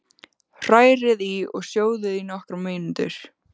Hrærið í og sjóðið í nokkrar mínútur.